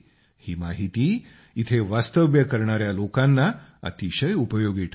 ही माहिती इथं वास्तव्य करणाया लोकांना अतिशय उपयोगी ठरते